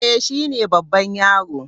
Eh, shi ne babban yaro.